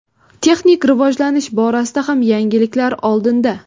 Texnik rivojlanish borasida ham yangiliklar oldinda.